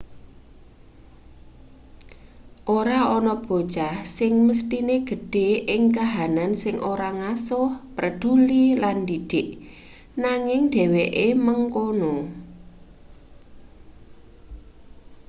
ora ana bocah sing mesthine gedhe ing kahanan sing ora ngasuh preduli lan ndidik nanging dheweke mengkono